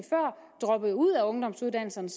droppede ud af ungdomsuddannelserne